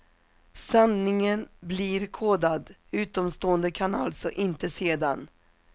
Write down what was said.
Sändningen blir kodad, utomstående kan alltså inte se den.